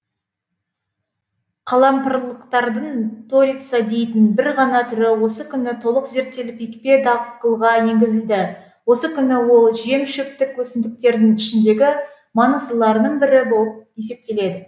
қалампырлықтардың торица дейтін бір ғана түрі осы күні толық зерттеліп екпе дақылға енгізілді осы күні ол жем шөптік өсімдіктердің ішіндегі маңыздыларының бірі болып есептеледі